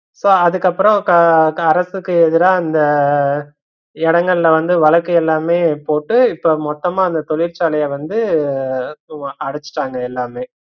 So அதுக்கப்பறம் தரப்புக்கு எதிரா அந்த இடங்கள்ல வழக்கு எல்லாமே போட்டு இப்ப மொத்தமா அந்த தொழிற்சாலைய வந்து அடசுட்டாங்க எல்லாமே